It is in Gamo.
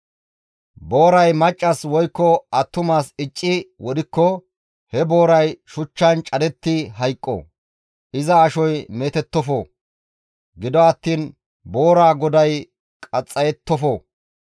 «Booray maccas woykko attumas icci wodhikko, he booray shuchchan cadetti hayqqo; iza ashoy meetettofo. Gido attiin boora goday qaxxayettofo.